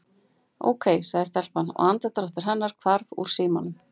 Ókei- sagði telpan og andardráttur hennar hvarf úr símanum.